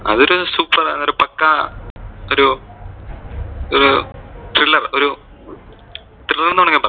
അതൊരു super പക്കാ ഒരു ഒരു thriller ഒരു thriller ഒരു thriller എന്ന് വേണെമെങ്കിൽ പറയാം.